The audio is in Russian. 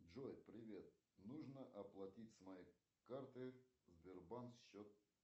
джой привет нужно оплатить с моей карты сбербанк счет